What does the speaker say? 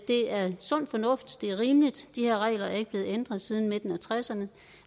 det er sund fornuft det er rimeligt de her regler er ikke blevet ændret siden midten af nitten tresserne